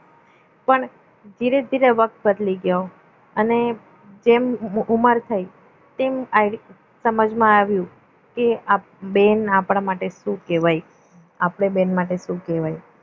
કોણે ધીરે ધીરે વક્ત બદલી ગયો અને જેમ ઉંમર થઈ તેમ સમજમાં આવ્યું કે બેન આપણા માટે શું કહેવાય આપણે બેન માટે શું કહેવાય